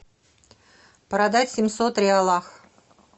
продать семьсот реалов